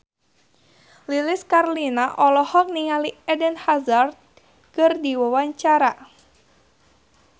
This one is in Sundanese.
Lilis Karlina olohok ningali Eden Hazard keur diwawancara